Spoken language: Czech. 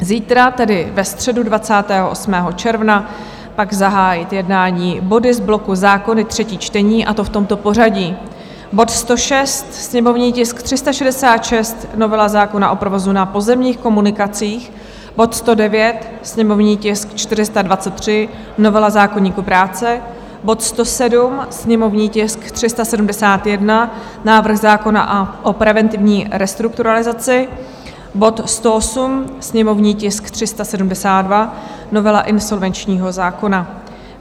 Zítra, tedy ve středu 28. června, pak zahájit jednání body z bloku Zákony - třetí čtení, a to v tomto pořadí: bod 106, sněmovní tisk 366, novela zákona o provozu na pozemních komunikacích; bod 109, sněmovní tisk 423, novela zákoníku práce; bod 107, sněmovní tisk 371, návrh zákona o preventivní restrukturalizaci; bod 108, sněmovní tisk 372, novela insolvenčního zákona.